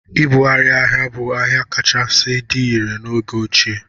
Ịbugharị ahịa bụ ahịa kachasị dị irè n'oge ochie.